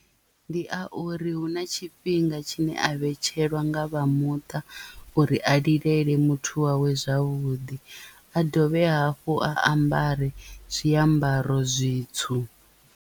Ndi a uri hu na tshifhinga tshine a vhetshelwa nga vha muṱa uri a lilele muthu wawe zwavhuḓi a dovhe hafhu a ambare zwiambaro zwitswu.